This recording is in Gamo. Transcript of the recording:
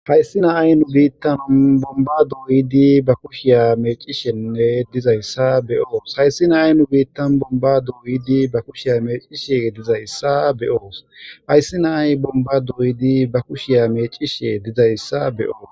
Hayssi na''ay nu bitta bomba do'idi ba kushshiya meciishshenne dizayssa be'os hayssi na''ay nu bittan bomba do'idi ba kushshiya meciishshe dizayssa be'os hayssi na''ay ba do'idi bomba meciishshe dizayssa be'os